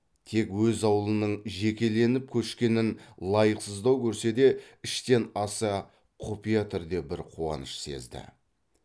тек өз аулының жекеленіп көшкенін лайықсыздау көрсе де іштен аса құпия түрде бір қуаныш сезді